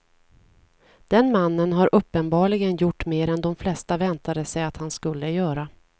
Den mannen har uppenbarligen gjort mer än de flesta väntade sig att han skulle göra.